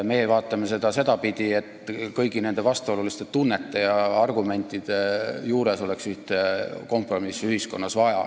Meie vaatame seda sedapidi, et hoolimata kõigist nendest vastuolulistest tunnetest ja argumentidest oleks kompromissi ühiskonnas vaja.